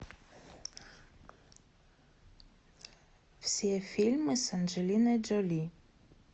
все фильмы с анджелиной джоли